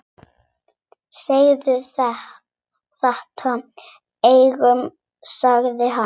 Segðu þetta engum sagði hann.